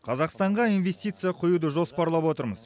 қазақстанға инвестиция құюды жоспарлап отырмыз